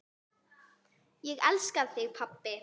Ég elska þig pabbi.